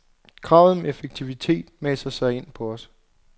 Kravet om effektivitet maser sig ind på os.